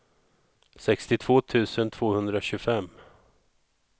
sextiotvå tusen tvåhundratjugofem